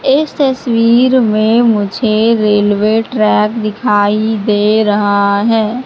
इस तस्वीर में मुझे रेलवे ट्रैक दिखाई दे रहा है।